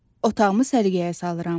Otağımı səliqəyə salıram.